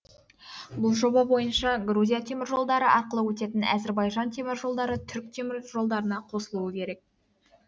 бұл жоба бойынша грузия темір жолдары арқылы өтетін әзірбайжан темір жолдары түрік темір жолдарына қосылуы керек